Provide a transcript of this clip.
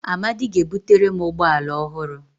Amadi ga-ebutere m ụgbọ ala ọhụrụ